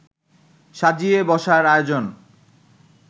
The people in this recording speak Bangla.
সাজিয়ে বসার আয়োজন